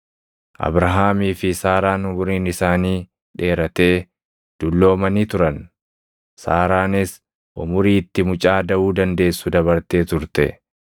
Abrahaamii fi Saaraan umuriin isaanii dheeratee dulloomanii turan; Saaraanis umurii itti mucaa daʼuu dandeessu dabartee turte.